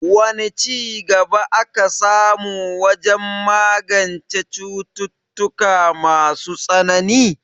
Wane ci gaba aka samu wajen magance cututtuka masu tsanani?